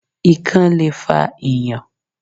Ikán le fa Ìyàn.